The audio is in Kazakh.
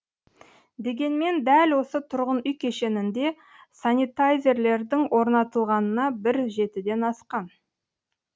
дегенмен дәл осы тұрғын үй кешенінде санитайзерлердің орнатылғанына бір жетіден асқан